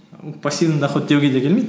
пассивный доход деуге де келмейді